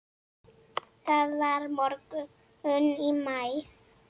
Það var morgunn í maí.